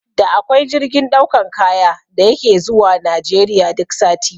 Da akwai jirgin ɗaukan kaya da yake zuwa Najeriya duk sati